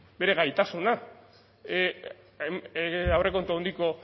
bere gaitasuna aurrekontu handiko